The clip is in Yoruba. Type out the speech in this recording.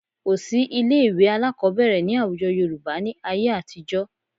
Kò sí ilé-ìwé alákọ̀ọ́bẹ̀rẹ̀ ní àwùjọ Yorùbá ní ayé àtijọ́